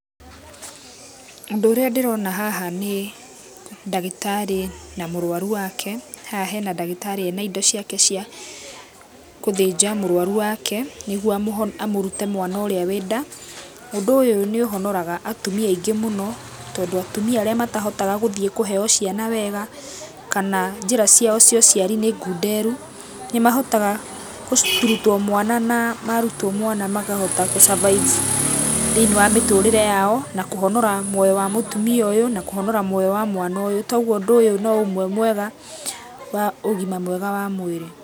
Ũndũ ũrĩa ndĩrona haha nĩ ndagĩtarĩ na mũrwaru wake. Haha hena ndagĩtarĩ ena indo ciake cia gũthĩnja mũrwaru wake, nĩguo amũrute mwana ũrĩa wĩnda. Ũndũ ũyũ nĩ ũhonoraga atumia aingĩ mũno, tondũ atumia arĩa matahotaga gũthiĩ kũheo ciana wega, kana njĩra ciao cia ũciarai nĩ ngunderu. Nĩ mahotaga kũrutwo mwana na marutwo mwana makahota gu survive thĩinĩ wa mĩtũtrĩre yao na, kũhonora muoyo wa mũtumia ũyũ, na kũhonora muoya wa mwana ũyũ. Toguo ũndũ ũyũ no ũmwe mwega wa ũgima mwega wa mwĩrĩ.